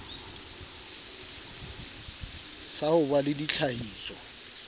sa ho ba le ditlhahiso